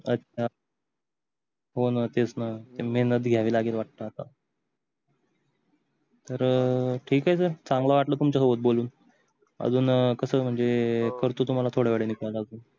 अच्छा होण तेच न महेनत घ्यावि लागेल वाटते आता तर ठीक आहे सर चांगल वाटल तुमच्या सोबत बोलून अजून कस म्हणजे करतो तुम्हाला थोड्या वेळानी काल आजून